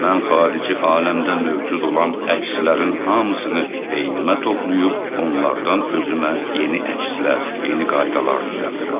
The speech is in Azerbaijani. Mən xarici aləmdə mövcud olan əkslərin hamısını beynimə toplayıb onlardan özümə yeni əkslər, yeni qaydalar düzəldirəm.